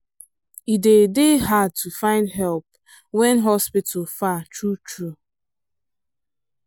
e dey dey hard to find help when hospital far true true.